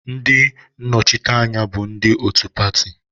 Ndị nnọchiteanya bụ ndị otu pati